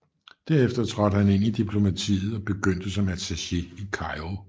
Derefter trådte han ind i diplomatiet og begyndte som attaché i Kairo